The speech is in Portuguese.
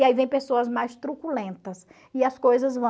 E aí vem pessoas mais truculentas e as coisas